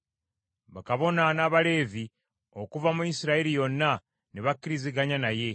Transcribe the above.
Bakabona n’Abaleevi okuva mu Isirayiri yonna ne bakkiriziganya naye.